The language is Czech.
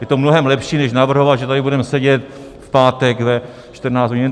Je to mnohem lepší než navrhovat, že tady budeme sedět v pátek ve 14 hodin.